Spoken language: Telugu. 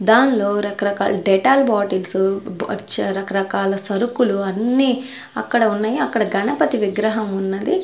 దానిలో రకరకాల డెటాల్ బాటిల్స్ చ రకరకాల సరుకులు అన్ని అక్కడ ఉన్నాయి అక్కడ గణపతి విగ్రహం ఉన్నది.